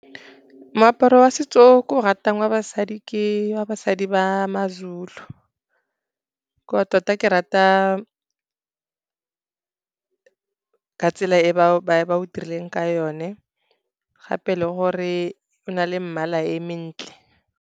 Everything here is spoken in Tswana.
Moaparo wa setso o ke o ratang wa basadi ke wa basadi ba maZulu. Tota ke rata ka tsela e ba o dirileng ka yone, gape le gore o na le mmala e mentle.